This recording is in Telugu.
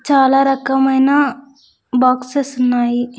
చాలా రకమైన బాక్సెస్ ఉన్నాయి.